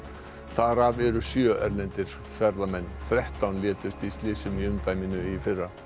þar af eru sjö erlendir ferðamenn þrettán létust í slysum í umdæminu í fyrra